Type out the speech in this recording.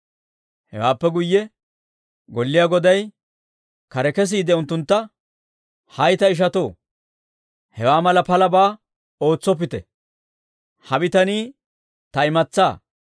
Hewaappe guyye golliyaa goday kare kesiide unttuntta, «Hay ta ishatoo, hewaa mala palabaa ootsoppite; ha bitanii ta imatsaa.